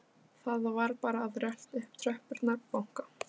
Það var bara að rölta upp tröppurnar og banka.